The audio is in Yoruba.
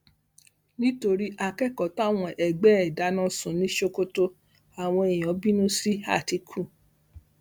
nítorí akẹkọọ táwọn ẹgbẹ ẹ dáná sun ní sokoto àwọn èèyàn bínú sí àtìkù